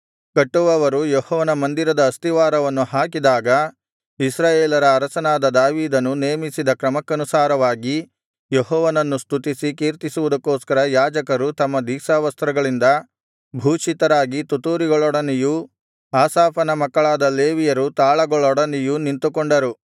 ಕಟ್ಟುವವರು ಯೆಹೋವನ ಮಂದಿರದ ಅಸ್ತಿವಾರವನ್ನು ಹಾಕಿದಾಗ ಇಸ್ರಾಯೇಲರ ಅರಸನಾದ ದಾವೀದನು ನೇಮಿಸಿದ ಕ್ರಮಕ್ಕನುಸಾರವಾಗಿ ಯೆಹೋವನನ್ನು ಸ್ತುತಿಸಿ ಕೀರ್ತಿಸುವುದಕ್ಕೋಸ್ಕರ ಯಾಜಕರು ತಮ್ಮ ದೀಕ್ಷಾವಸ್ತ್ರಗಳಿಂದ ಭೂಷಿತರಾಗಿ ತುತ್ತೂರಿಗಳೊಡನೆಯೂ ಆಸಾಫನ ಮಕ್ಕಳಾದ ಲೇವಿಯರು ತಾಳಗಳೊಡನೆಯೂ ನಿಂತುಕೊಂಡರು